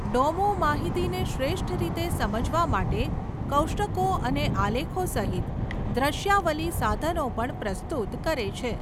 Domo માહિતીને શ્રેષ્ઠ રીતે સમજવા માટે કોષ્ટકો અને આલેખો સહિત દ્રશ્યાવલી સાધનો પણ પ્રસ્તુત કરે છે.